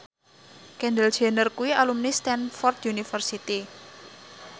Kendall Jenner kuwi alumni Stamford University